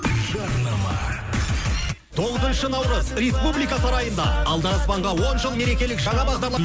жарнама тоғызыншы наурыз республика сарайында алдараспанға он жыл мерекелік жаңа